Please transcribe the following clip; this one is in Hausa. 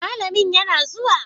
malamin yana zuwa?